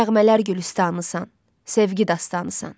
nəğmələr gülüstanısan, sevgi dastanıısan.